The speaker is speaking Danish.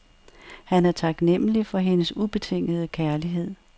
Han er taknemmelig for hendes ubetingede kærlighed.